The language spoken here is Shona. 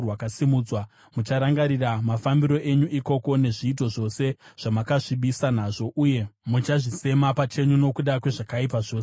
Mucharangarira mafambiro enyu ikoko nezviito zvose zvamakazvisvibisa nazvo uye muchazvisema pachenyu nokuda kwezvakaipa zvose zvamakaita.